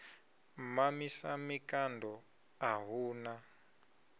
mamisa mikando a hu na